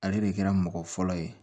Ale de kɛra mɔgɔ fɔlɔ ye